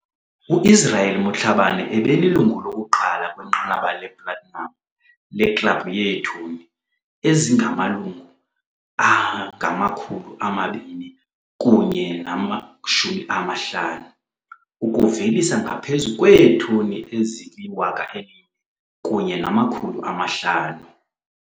U-Israel Motlhabane ebelilungu lokuqala kwinqanaba le-platinum leKlabhu yeeToni ezingama-250, ukuvelisa ngaphezu kweetoni ezili-1 500.